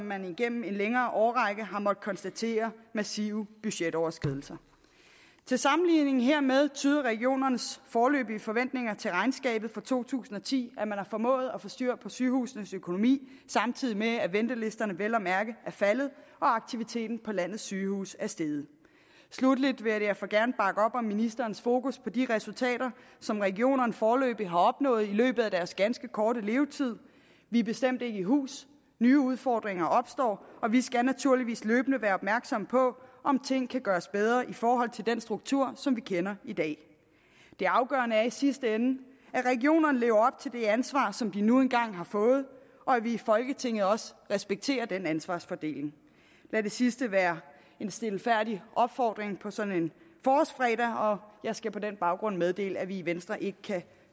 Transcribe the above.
man igennem en længere årrække har måttet konstatere massive budgetoverskridelser til sammenligning hermed tyder regionernes foreløbige forventninger til regnskabet for to tusind og ti at man har formået at få styr på sygehusenes økonomi samtidig med at ventelisterne vel at mærke er faldet og aktiviteten på landets sygehuse er steget sluttelig vil jeg derfor gerne bakke op om ministerens fokus på de resultater som regionerne foreløbig har opnået i løbet af deres ganske korte levetid vi er bestemt ikke i hus nye udfordringer opstår og vi skal naturligvis løbende være opmærksomme på om ting kan gøres bedre i forhold til den struktur som vi kender i dag det afgørende er i sidste ende at regionerne lever til det ansvar som de nu engang har fået og at vi i folketinget også respekterer den ansvarsfordeling lad det sidste være en stilfærdig opfordring på sådan en forårsfredag og jeg skal på den baggrund meddele at vi i venstre ikke kan